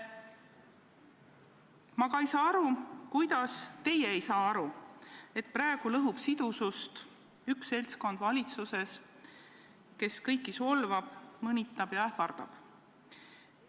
Ma ei saa aru, kuidas teie ei saa aru, et praegu lõhub sidusust üks seltskond valitsuses, kes kõiki solvab, mõnitab ja ähvardab.